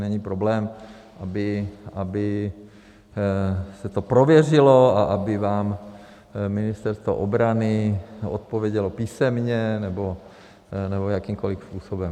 není problém, aby se to prověřilo a aby vám Ministerstvo obrany odpovědělo písemně nebo jakýmkoliv způsobem.